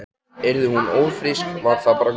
Yrði hún ófrísk var það bara gott.